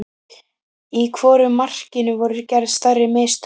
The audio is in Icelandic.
Í hvoru markinu voru gerð stærri mistök?